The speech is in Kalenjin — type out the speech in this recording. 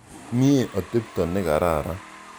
Mye atepto ne kararan.